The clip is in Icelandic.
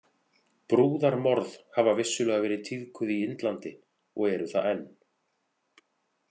Brúðarmorð hafa vissulega verið tíðkuð í Indlandi og eru það enn.